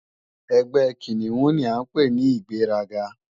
Ẹgbẹ́ Kìnìún ni à ń pè ní ìgbéraga